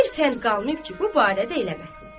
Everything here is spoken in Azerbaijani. Bir fənd qalmayıb ki, bu barədə eləməsin.